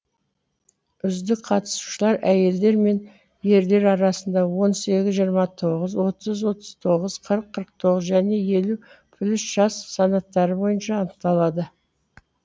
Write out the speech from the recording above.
үздік қатысушылар әйелдер мен ерлер арасында он сегіз жиырма тоғыз отыз отыз тоғыз қырық қырық тоғыз және елу плюс жас санаттары бойынша анықталды